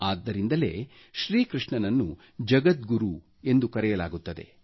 ಆದ್ದರಿಂದಲೇ ಶ್ರೀ ಕೃಷ್ಣನನ್ನು ಜಗದ್ಗುರು ಎಂದು ಕರೆಯಲಾಗುತ್ತದೆ